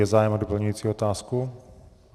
Je zájem o doplňující otázku?